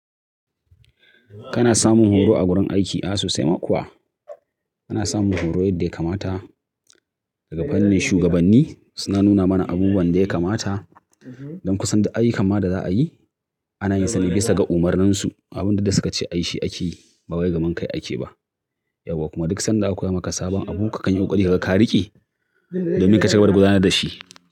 Kana samun horo a wurin aiki? A sosai ma kuwa. Ina samun horo yadda ya kamata daga fannin shugabanni. Suna nuna mana abubuwan da ya kamata don ku san duk aiyukan da za a yi. Ana yin sa ne bisa ga umarninsu. Abin duk suka ce a yi shi ake yi bawai gaban kai ake ba. Yauwa kuma duk sanda aka koya maka sabon abu kakan yi ƙoƙari kaga karike domin kaci gaba da gudanar da shi.